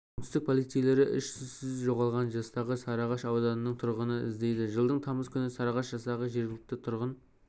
оңтүстіктің полицейлері із-түссіз жоғалған жастағы сарыағаш ауданының тұрғынын іздейді жылдың тамызы күні сарыағаш жастағы жергілікті тұрғын